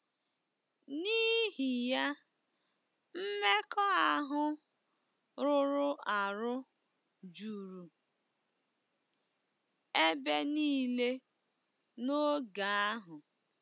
N'ihi ya, mmekọahụ rụrụ arụ juru ebe nile n'oge ahụ.